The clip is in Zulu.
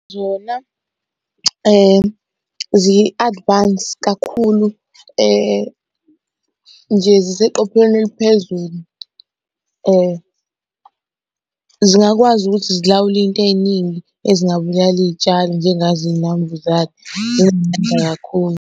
Zona zi-advance kakhulu nje ziseqopheleni eliphezulu zingakwazi ukuthi zilawule iy'nto ey'ningi ezingabulala iy'tshalo njengazo iy'nambuzane, zinamandla kakhulu.